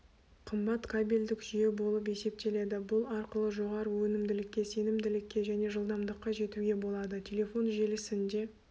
қымбат кабельдік жүйе болып есептеледі бұл арқылы жоғары өнімділікке сенімділікке және жылдамдыққа жетуге болады телефон желісінде